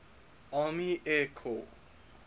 army air corps